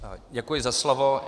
Děkuji za slovo.